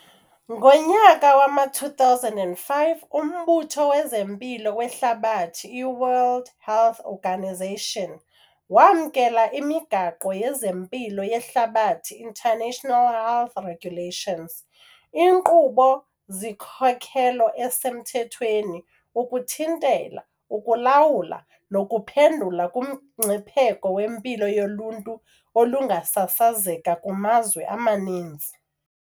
Ngonyaka wama-2005, uMbutho wezeMpilo weHlabathi, iWorld Health Organisation, wamkela iMigaqo yezeMpilo yeHlabathi, International Health Regulations, inkqubo-sikhokelo esemthethweni ukuthintela, ukulawula nokuphendula kumngcipheko wempilo yoluntu olungasasazeka kumazwe amaninzi.